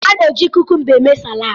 A na-eji kukumba eme salaad.